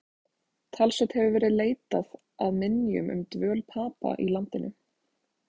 Talsvert hefur verið leitað að minjum um dvöl Papa í landinu.